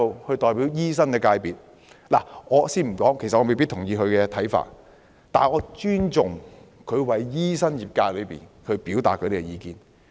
他作為醫生的代表，雖然我未必認同他的看法，但我尊重他為醫生業界表達意見。